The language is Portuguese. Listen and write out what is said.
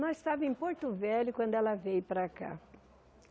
Nós estávamos em Porto Velho quando ela veio para cá.